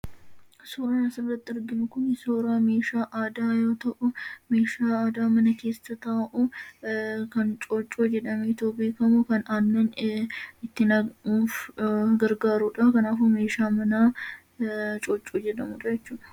Suuraan asirratti arginu kuni suuraa meeshaa aadaa yoo ta'u, meeshaa aadaa mana keessa taa'u kan Cooccoo jedhameetoo beekamu kan aannan itti nammuuf gargaaruu dha. Kanaafuu, meeshaa manaa Cooccoo jedhamuu dha jechuudha.